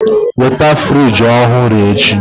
Nweta fịrij ọhụrụ echi!